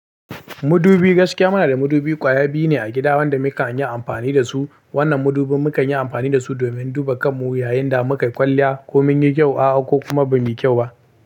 Mudubi gaskiya muna da mudubi kwaya biyu ne a gida wanda mukan yi amfani da su. Wannan mudubi mukan yi amfani da su domin duba kanmu yayin da mukai kwalliya ko mun yi kyau a'a ko kuma ba muyi kyau ba.